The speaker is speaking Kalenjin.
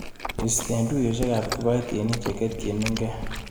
Istee tuiyosiekap kipaitinik cheketyinike.